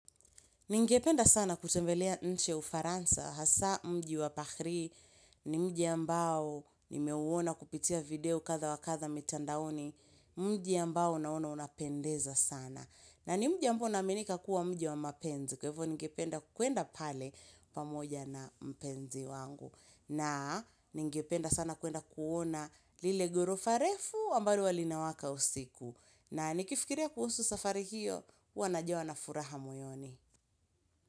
Ningependa sana kutembelea nchi ya ufaransa, hasa mji wa paris, ni mji ambao nimeuona kupitia video kadha wa kadha mitandaoni, mji ambao naona unapendeza sana. Na ni mji ambao unaaminika kuwa mji wa mapenzi, kwa hivo ningependa kuenda pale pamoja na mpenzi wangu. Na ningependa sana kuenda kuona lile ghorofa refu ambalo huwa linawaka usiku. Na nikifikiria kuhusu safari hiyo, huwa najawa na furaha moyoni.